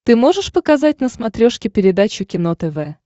ты можешь показать на смотрешке передачу кино тв